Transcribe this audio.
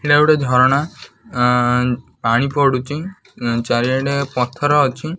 ଏଇଟା ଗୋଟେ ଝରଣା ଆଁ ପାଣି ପଡୁଚି ଉଁ ଚାରି ଆଡେ଼ ପଥର ଅଛି।